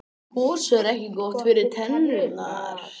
gos er ekki gott fyrir tennurnar